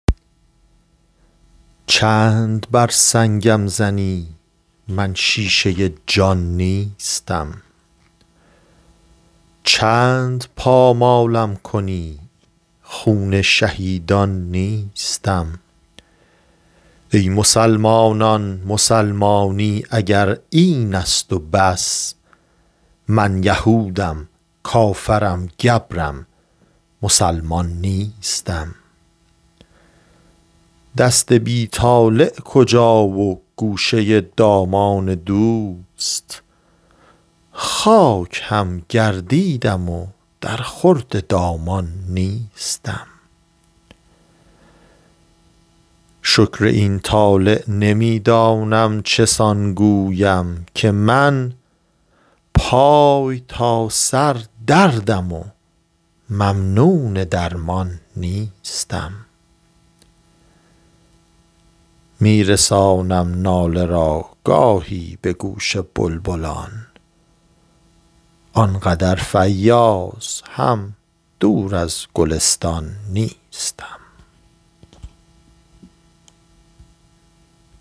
چند بر سنگم زنی من شیشه جان نیستم چند پامالم کنی خون شهیدان نیستم ای مسلمانان مسلمانی اگر اینست و بس من یهودم کافرم گبرم مسلمان نیستم دست بی طالع کجا و گوشه دامان دوست خاک هم گردیدم و در خورد دامان نیستم شکر این طالع نمی دانم چه سان گویم که من پای تا سر دردم و ممنون درمان نیستم می رسانم ناله را گاهی به گوش بلبلان آن قدر فیاض هم دور از گلستان نیستم